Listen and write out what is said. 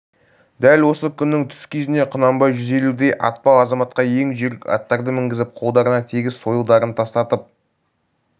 дәл осы күннің түс кезінде құнанбай жүз елудей атпал азаматқа ең жүйрік аттарды мінгізіп қолдарына тегіс сойылдарын тастатып